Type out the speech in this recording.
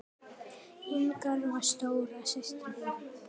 Inga var stóra systir mín.